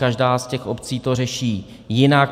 Každá z těch obcí to řeší jinak.